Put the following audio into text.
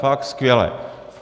Fakt skvěle.